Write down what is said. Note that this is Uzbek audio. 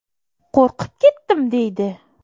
Qo‘rqib ketdim”, deydi.